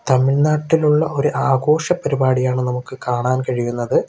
തമിഴ്നാട്ടിലുള്ള ഒരു ആഘോഷ പരിപാടിയാണ് നമുക്ക് കാണാൻ കഴിയുന്നത്.